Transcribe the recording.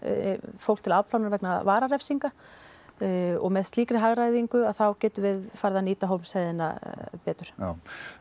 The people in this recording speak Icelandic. fólk til afplánunar vegna vararefsinga og með slíkri hagræðingu þá getum við farið að nýta Hólmsheiðina betur já